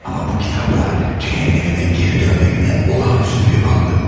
Amma bu kitabla cəhənnəmimə geri dönmək nə olağanüstü bir andı.